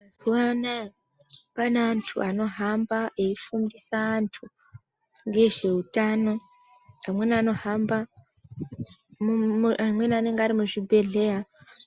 Mazuvana pane antu anohamba eifundise antu ngezveutano amweni anohamba amweni anenge ari muzvibhehleya